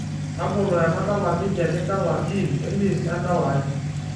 tabolo enadala midia nidala gym elist endala ai